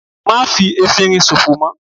Má fi efinrin sòfò mọ́!